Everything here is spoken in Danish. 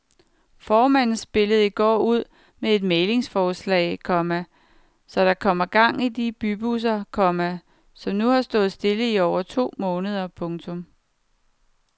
Formanden spillede i går ud med et mæglingsforslag, komma så der kommer gang i de bybusser, komma som nu har stået stille i over to måneder. punktum